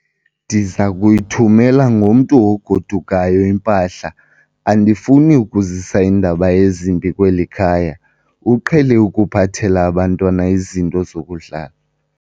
Ndiza kuyithumela ngomntu ogodukayo impahla. andifuni ukuzisa iindaba ezimbi kweli khaya, uqhele ukuphathela abantwana izinto zokudlala